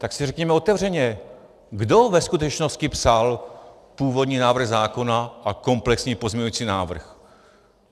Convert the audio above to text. Tak si řekněme otevřeně: kdo ve skutečnosti psal původní návrh zákona a komplexní pozměňovací návrh?